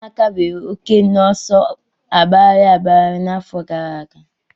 Ụmụaka nwere oke n'ọsọ agbagharị agbagharị n'afọ gara aga.